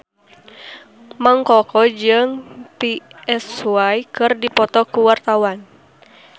Mang Koko jeung Psy keur dipoto ku wartawan